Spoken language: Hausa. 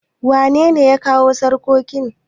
wanene ya kawo sarkokin?